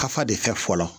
Kafa de fɛ fɔlɔ